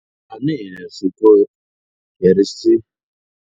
Tanihileswi ku herisa.